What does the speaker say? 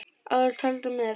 Áður taldar með